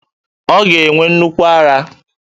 Ọ ga-enwe nnukwu ara